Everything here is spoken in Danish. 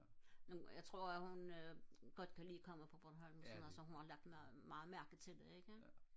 nå jeg tror at hun godt kan lide at komme på bornholm og sådan så hun har lagt meget mærke til det ikke